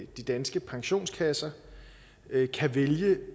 de danske pensionskasser kan vælge